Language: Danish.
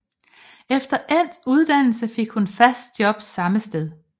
Efter endt uddannelse fik hun fast job samme sted